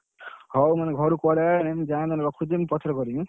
ହଉ ମୁଁ ଘରୁ call ମୁଁ ଯାଇଁ ମୁଁ ରଖୁଛି ପଛରେ କରିବି।